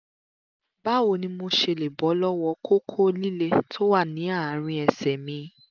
báwo ni mo ṣe lè bọ́ lọ́wọ́ kókó líle tó wà ní àárín ẹsẹ̀ mi?